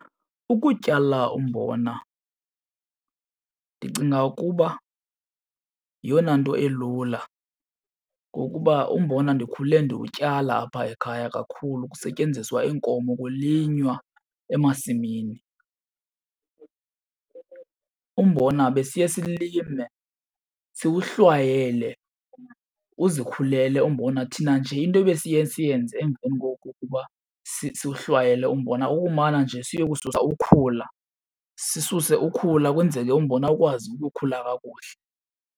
Ukutyala umbona ndicinga ukuba yeyona nto elula ngokuba umbona ndikhule ndiwutyala apha ekhaya kakhulu, kusetyenziswa iinkomo, kulinywa emasimini. Umbona besiye silime siwuhlwayele, uzikhulele umbona. Thina nje into ebesiye siyenze emveni kokokuba siwuhlwayele umbona kukumana nje siye kususa ukhula, sisuse ukhula ukwenzeke umbona ukwazi ukukhula kakuhle.